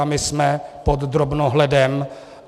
A my jsme pod drobnohledem.